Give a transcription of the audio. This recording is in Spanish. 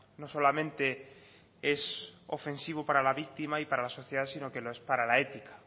no solamente es ofensivo para la víctima y para la sociedad sino que es para la ética